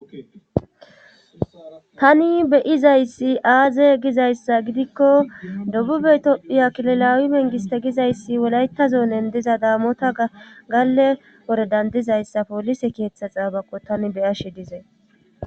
tani beyizayssi aaze gizayssa gidikko dobube itophiya kilolawi mengiste gizayssi wolaytazo nen diza daamota galle wore dandizayssa poolise keeththa xaabako tani beyashe dizay